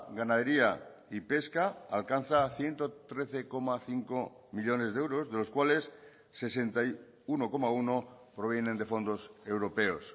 ganadería y pesca alcanza a ciento trece coma cinco millónes de euros de los cuales sesenta y uno coma uno provienen de fondos europeos